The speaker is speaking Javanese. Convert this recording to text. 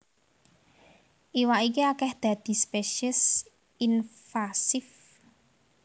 Iwak iki akèh dadi spesies invasif